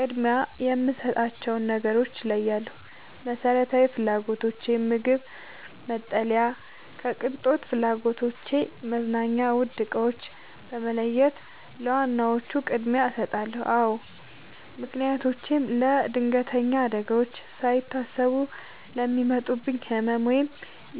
ቅድሚያ የምሰጣቸውን ነገሮች እለያለሁ፦ መሰረታዊ ፍላጎቶቼን (ምግብ፣ መጠለያ) ከቅንጦት ፍላጎቶቼ (መዝናኛ፣ ውድ ዕቃዎች) በመለየት ለዋና ዋናዎቹ ቅድሚያ እሰጣለሁ። አዎ ምክንያቶቼም ለለድንገተኛ አደጋዎች፦ ሳይታሰቡ ለሚመጣብኝ ህመም፣ ወይም